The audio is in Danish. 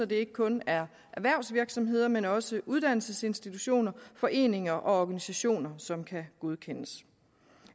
det ikke kun er erhvervsvirksomheder men også uddannelsesinstitutioner foreninger og organisationer som kan godkendes